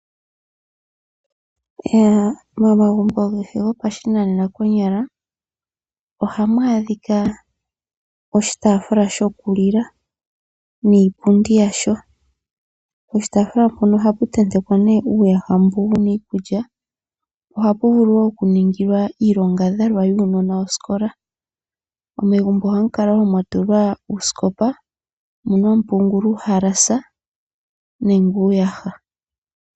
Momagumbo kehe gopashinanena konyala ohamu adhika oshiitaafula shokulila niipundi yawo. Poshitaafula mpono ohapu tentekwa nee uuyaha mbu wuna iikulya. Ohapu vulu wo okuningilwa iilongadhalwa yuunona wosikola. Megumbo ohamu kala wo mwa tulwa uusikopa mono hamu pungulwa uuhalasa nenge uuyaha.